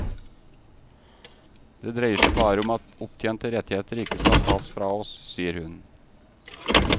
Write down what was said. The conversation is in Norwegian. Det dreier seg bare om at opptjente rettigheter ikke skal tas fra oss, sier hun.